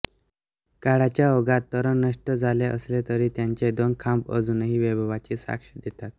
काळाच्या ओघात तोरण नष्ट झाले असले तरी त्याचे दोन खांब अजूनही वैभवाची साक्ष देतात